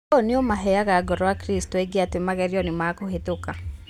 ũũ nĩũmaheaga ngoro akristo aingĩ atĩ magerio nĩmakũhĩtũka